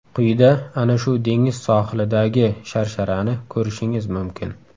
Quyida ana shu dengiz sohilidagi sharsharani ko‘rishingiz mumkin.